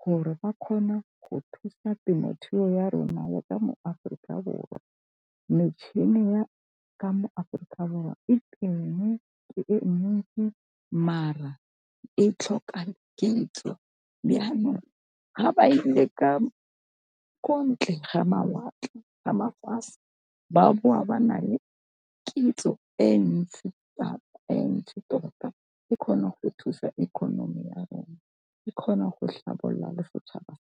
gore ba kgone go thusa temothuo ya rona ya ka mo Aforika Borwa. Metšhini ya ka mo Aforika Borwa e teng e mentsi, mara e tlhoka kitso ga ba ile ka ko ntle ga mawatle ga mafatshe ba boa ba na le kitso e ntsi e ntsi tota ke kgone go thusa economy ya rona ke kgona go tlhabolola le setšhaba .